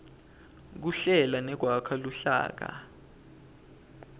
kuhlela nekwakha luhlaka